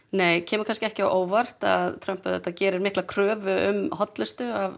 nei kemur ekki á óvart Trump gerir mikla kröfu um hollustu af